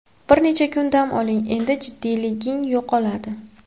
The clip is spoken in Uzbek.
Bir necha kun dam olding, endi jiddiyliging yo‘qoladi.